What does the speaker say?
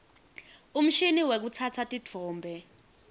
umshini wekutsatsa titfombe